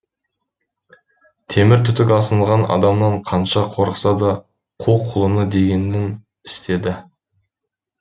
темір түтік асынған адамнан қанша қорықса да қу құлыны дегенін істеді